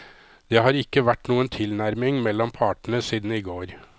Det har ikke vært noen tilnærming mellom partene siden i går.